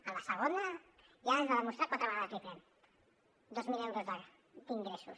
en la segona ja has de demostrar quatre vegades l’iprem dos mil euros d’ingressos